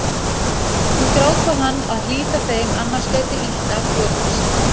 Hún grátbað hann að hlíta þeim annars gæti illt af hlotist